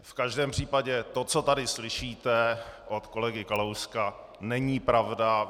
V každém případě to, co tady slyšíte od kolegy Kalouska, není pravda.